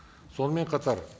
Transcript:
сонымен қатар